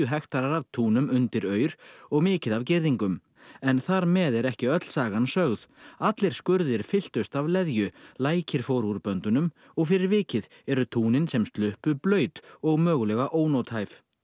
hektarar af túnum undir aur og mikið af girðingum en þar með er ekki öll sagan sögð allir skurðir fylltust af leðju lækir fóru úr böndunum og fyrir vikið eru túnin sem sluppu blaut og mögulega ónothæf